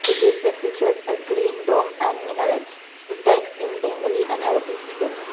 the gateway features a green dom and minerates with text in bengali and arabic scripts.